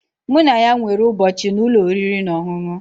Mụ na ya nwere ụbọchị na ụlọ oriri na ọṅụṅụ